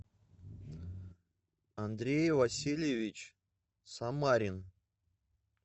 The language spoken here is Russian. андрей васильевич самарин